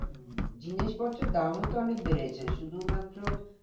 জিনিসপত্রের দামও তো অনেক বেড়েছে শুধু মাত্র